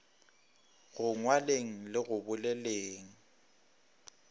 go ngwaleng le go boleleng